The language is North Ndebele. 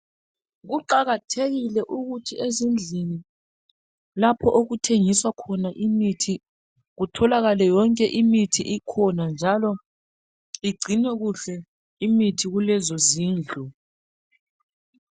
Kuqakathekile ukuthi ezindlini lapho okuthengiswa khona imithi kutholakale yonke imithi ikhona njalo igcinwe kuhle imithi kulezo zindlu